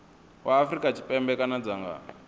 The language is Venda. wa afrika tshipembe kana dzangano